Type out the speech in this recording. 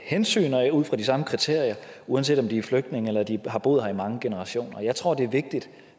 hensyn og ud fra de samme kriterier uanset om de er flygtninge eller de har boet her i mange generationer jeg tror det er vigtigt